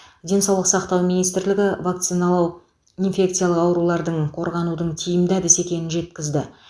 денсаулық сақтау министрлігі вакциналау инфекциялық аурулардың қорғанудың тиімді әдісі екенін жеткізді